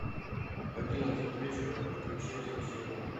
в одиннадцать вечера включи освещение